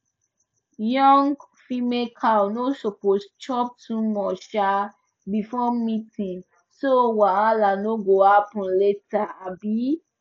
young female cow no suppose chop too much um before mating so wahala no go happen later um